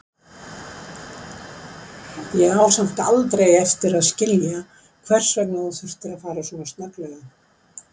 Ég á samt aldrei eftir að skilja hvers vegna þú þurftir að fara svona snögglega.